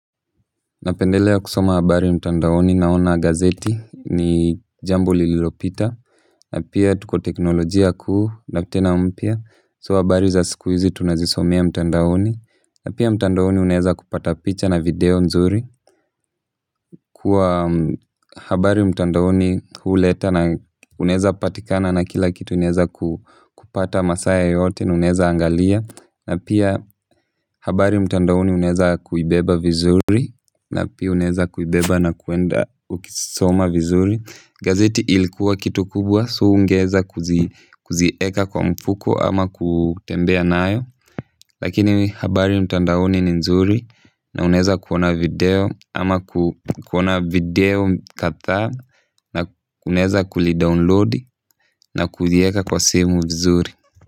Napendelea kusoma habari mtandaoni naona gazeti ni jambo lililopita na pia tuko teknolojia kuu na tena mpia. So habari za siku hizi tunazisomea mtandaoni na pia mtandaoni uneza kupata picha na video nzuri kuwa habari mtandaoni huuleta na uneza patikana na kila kitu unaeza kupata masaa yoyote na unaeza angalia pia habari mtandaoni uneza kuibeba vizuri na pia unaeza kuibeba na kuenda ukisoma vizuri gazeti ilikuwa kitu kubwa. So hungeweza kuzieka kwa mfuko ama kutembea nayo lakini habari mtandaoni ni nzuri na unaeza kuona video ama kuona video kadhaa na unaeza kulidownload na kulieka kwa simu vizuri.